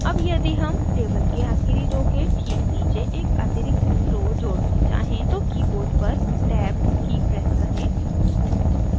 add यदि हम table की आखिरी row के ठीक नीचे एक अतिरिक्त row जोड़ना चाहें तो keyboard पर tab की press करें